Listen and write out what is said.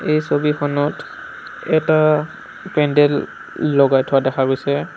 এই ছবিখনত এটা পেণ্ডেল লগাই থোৱা দেখা গৈছে।